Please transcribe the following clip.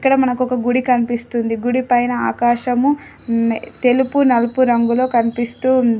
ఇక్కడ మనకు ఒక గుడి కనిపిస్తుంది. గుడి పైన ఆకాశము తెలుపు నలుపు రంగులో కనిపిస్తూ ఉంది.